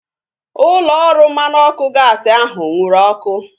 Ụlọ ọrụ mmanụ ọkụ gaasi ahu nwụrụ ọkụ